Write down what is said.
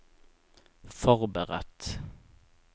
forberedt